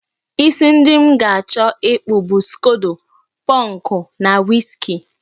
Isi ndị m ga-achọ ịkpụ bụ skodo pọnkụ na wiski